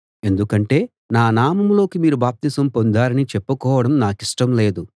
ఎందుకంటే నా నామంలోకి మీరు బాప్తిసం పొందారని చెప్పుకోవడం నాకిష్టం లేదు